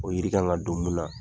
O yiri kan ka don mun na.